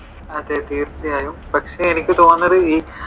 അതെ തീർച്ചയായും. പക്ഷെ എനിക്ക് തോന്നുന്നത് ഈ